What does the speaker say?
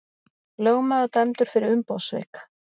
Lögmaður dæmdur fyrir umboðssvik